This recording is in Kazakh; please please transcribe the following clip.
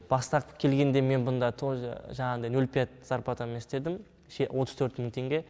бастапқы келгенде мен бұнда тоже жаңағыдай нөл пять зарплатамен істедім отыз төрт мың теңге